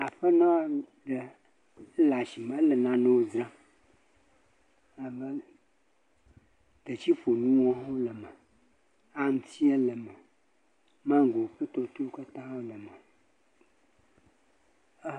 Aƒenɔ ɖe. Ele asime lɔ nanewo dzram. Nane, detsiƒonuwo hã le me, aŋtiɛ le me, maŋgo kpli tɔtɔewo katã hã le me